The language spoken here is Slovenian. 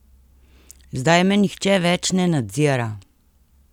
Zdaj me nihče več ne nadzira!